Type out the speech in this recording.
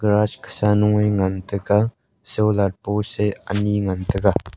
gas sanu ngan tai ga solar post e ani ngan tai ga.